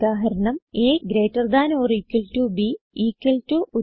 ഉദാഹരണം160agtb equal to